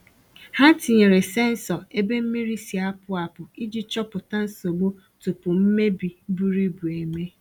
Ha tinyere sensọ ebe mmiri si-apụ apụ iji chọpụta nsogbu tupu mmebi buru ibu eme.